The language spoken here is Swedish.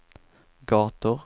gator